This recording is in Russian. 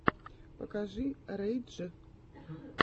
покажи рэй дж